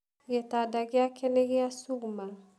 Gĩtanda gĩake nĩ gĩa cuma